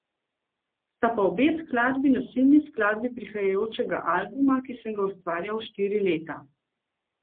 Sta pa obe skladbi nosilni skladbi prihajajočega albuma, ki sem ga ustvarjal štiri leta.